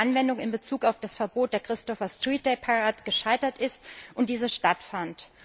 die Anwendung in Bezug auf das Verbot der Christopher Street Day Parade gescheitert ist und diese stattfand.